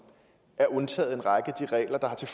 er undtaget fra en række af de regler der har til